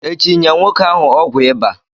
Echi nye nwoke ahụ ọgwụ ịba